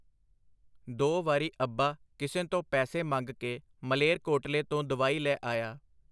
ਦੋ ਵਾਰੀ ਅੱਬਾ ਕਿਸੇ ਤੋਂ ਪੈਸੇ ਮੰਗ ਕੇ ਮਲੇਰਕੋਟਲੇ ਤੋਂ ਦਵਾਈ ਲੈ ਆਇਆ.